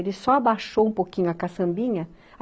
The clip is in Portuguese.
Ele só abaixou um pouquinho a caçambinha.